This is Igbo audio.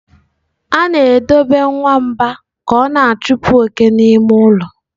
A na-edobe nwamba ka ọ na-achụpụ oke n'ime ụlọ.